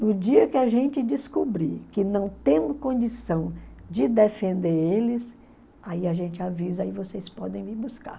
No dia que a gente descobrir que não temos condição de defender eles, aí a gente avisa, aí vocês podem vir buscar.